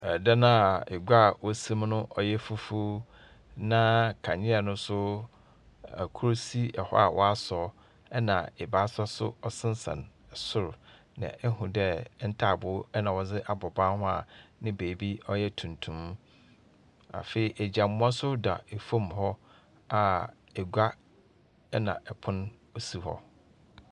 Ɛdan a egua wosim no ɔyɛ fufu. Na kanea no nso ɛkoro si ɛhɔ a wasɔ. Ɛna ebaasa so ɔsensɛn soro. Na ehu dɛ ntaaboo na wɔde abɔ ban no hoɔ a ne baabi ɔyɛ tuntum. Afei agyinamoa nso da efam hɔ a egua ɛna ɛpono osi hɔ.